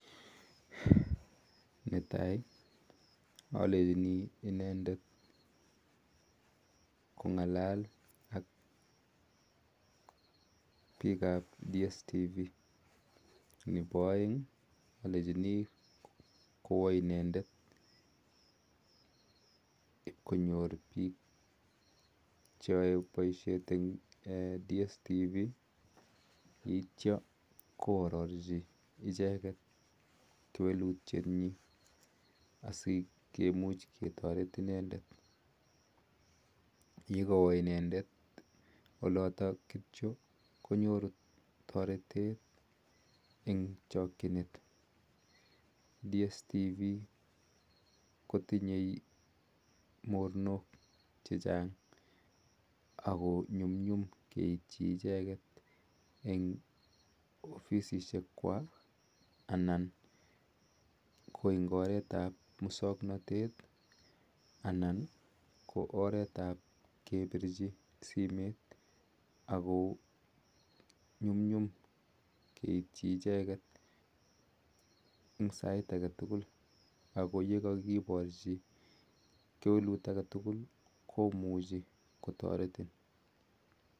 Netaii alenjini inendeet kongalal ak piik ap dstv nepo aeeng alenjin ipkonyor piik cheaa kasiit eng kampunit ap dstv imuchii konyor taritete eng chakchinent nyum nyum kenyor icheget eng opisisheek kwaaak eng oret am musamnatete ko makinyoruu missing kipirchin simet ak komuch kotaritin